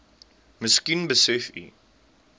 miskien besef u